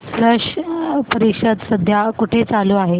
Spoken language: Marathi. स्लश परिषद सध्या कुठे चालू आहे